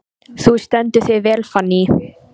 Þú stendur þig vel, Fanný!